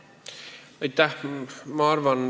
Aitäh!